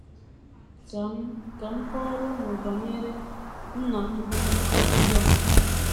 Ka m Ka m kọọrọ unu banyere nna m, bụ́ Obi Young.